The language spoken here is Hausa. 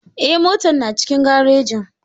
Eh, motar na cikin garejin